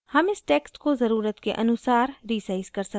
हम इस text को ज़रुरत के अनुसार resize कर सकते हैं